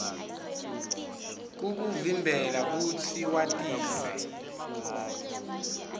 kukuvimbela kutsi watise